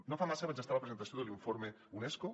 no fa massa vaig estar a la presentació de l’informe unesco